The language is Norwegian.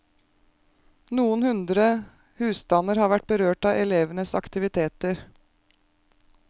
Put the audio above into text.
Noen hundre husstander har vært berørt av elevenes aktiviteter.